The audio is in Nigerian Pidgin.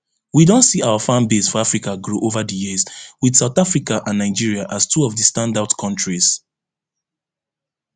we don see our fanbase for africa grow ova di years wit south africa and nigeria as two of di standout kontris